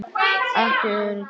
Ekki öryggi.